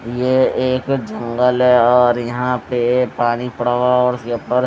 ये एक जंगल है और यहां पे पानी पड़ा हुआ और --